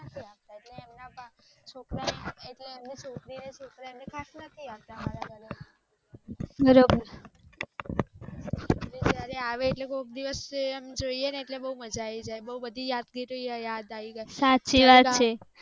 ઍટલે એમની છોકરી ને છોકરા ખાસ કરી ને નથી આવતા અમારા ઘરે બિચારી આવે ઍટલે કોક દિવસ એ જોઈએ એમ જોઈએ ને ઍટલે બોવ મજા આવી જાય અને બોવ બધી યાદગીરી ઑ યાદ આવ જાય